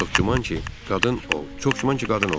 Çox güman ki, qadın o, çox güman ki, qadın oğurlayıb.